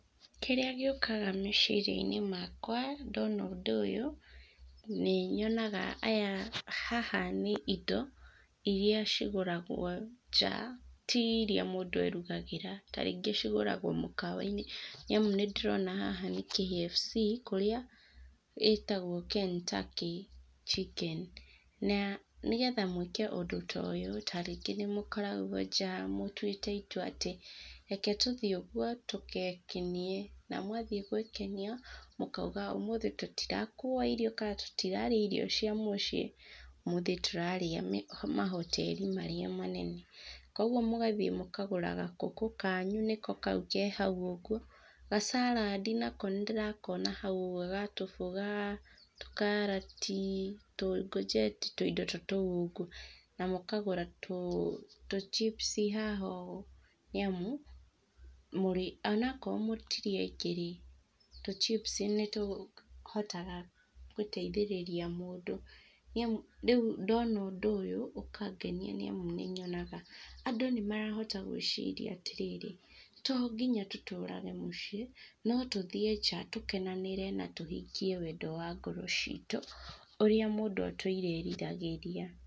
Kĩrĩa gĩũkaga meciria-inĩ makwa ndona ũndũ ũyũ, nĩ nyonaga aya ,haha nĩ indo iria cigũragwo nja, ti iria mũndũ erugagĩra, ta rĩngĩ igũragwo mũkawa-inĩ, nĩ amu ndĩrona haha ndĩrona nĩ KFC kũrĩa ĩtagwo Ken Turkey Chicken nĩya, nĩgetha mwĩke ũndũ ta ũyũ, ta rĩngĩ nĩ mũkoragwo nja, mũtwĩte itua atĩ, reke tũthiĩ ũguo tũgekenie, na mwathiĩ gwĩkenia, mũkauga ũmũthĩ tũtira kua irio, tũtirarĩa irio cia mũciĩ, ũmũthĩ tũrarĩa mahoteri marĩa manene, kugwo mũgathiĩ mũkagũra gakũkũ kanyu nĩko kau ke hau ũguo, gacaradi nako ndĩrakona hau ũgwo ga tũboga , tũkarati, tungojeti, tũ indo ta tũu ũguo , na mũkagũra tuchipici haha ũguo ,nĩ amu, ona akorwo mũtirĩ aingĩ rĩ tũchipici nĩ tũhotaga gũteithĩrĩria mũndũ , rĩu ndona ũndũ ũyũ ũkangenia nĩ amu, nĩ nyonaga andũ nĩ marahota gwĩciria atĩ rĩrĩ, to nginya tũtũrage mũciĩ , no tũthiĩ nja tũkenanĩre na tũhingie wendo wa ngoro citũ, ũrĩa mũndũ atũire eriragĩria.